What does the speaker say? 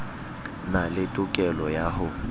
na le tokelo ya ho